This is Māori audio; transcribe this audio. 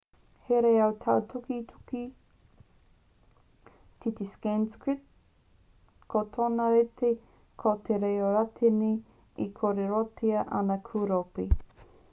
he reo tāukiuki te sanskrit ko tōna rite ko te reo rātini e kōrerotia ana ki ūropi